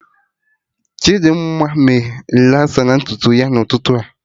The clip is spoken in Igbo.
Chidimma mee relasa na ntutu ya na ụtụtụ a